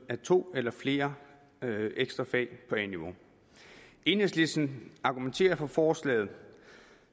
af to eller flere ekstra fag på a niveau enhedslisten argumenterer for forslaget